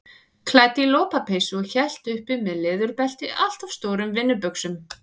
Klædd í lopapeysu og hélt uppi með leðurbelti allt of stórum vinnubuxum.